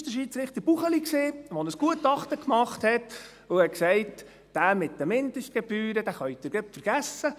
Es war der Schiedsrichter Buchli, der ein Gutachten machte und sagte: «Die Sache mit den Mindestgebühren können Sie gleich vergessen.